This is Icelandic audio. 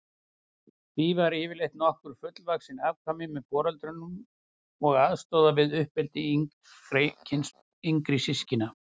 Því eru yfirleitt nokkur fullvaxin afkvæmi með foreldrunum og aðstoða við uppeldi yngri systkina.